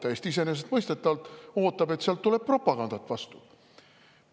Ta täiesti iseenesestmõistetavalt ootab, et sealt tuleb propagandat vastu.